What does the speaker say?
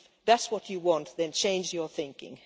If that is what you want, then change your thinking.